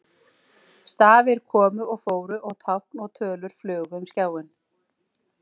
Stafir komu og fóru og tákn og tölur flugu um skjáinn.